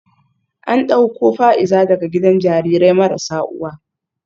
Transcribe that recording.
An dauko Fa’iza daga gidan jarirai marasa uwa